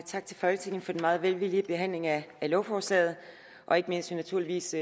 tak til folketinget for den meget velvillige behandling af lovforslaget og ikke mindst naturligvis